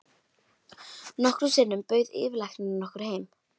Nokkrum sinnum bauð yfirlæknirinn okkur heim.